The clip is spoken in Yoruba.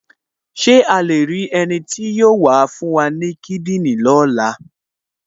Ṣé a lè rí ẹni tí yóò fún wa ní kíndìnrín ní ọ̀la?